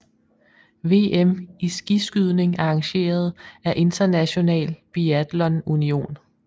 VM i skiskydning arrangeret af International Biathlon Union